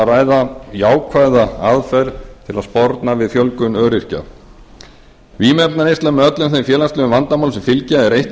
ræða jákvæða aðferð til að sporna við fjölgun öryrkja vímuefnaneysla með öllum þeim félagslegu vandamálumsem fylgja er eitt af